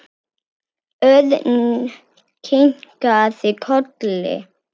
Örn kinkaði kolli.